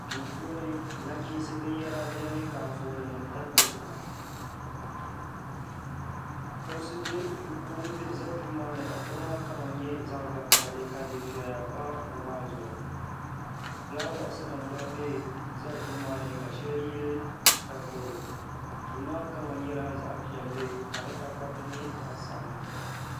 duu puuni na'chiinsi binyɛra beni ka anfooninima tabi dukpuna kuɣu za duu maa ni ka kuɣu maa kama nyɛ zaɣ'vakahili kadufiɛya pa kuɣu maa zuɣu flaawaasinima gba za duu maa ni ka shɛli yili takoro duu maa kama nyla zaɣ'piɛlli ka di takoriti nyɛ zaɣ'sabinlli